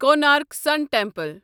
Konark sun temple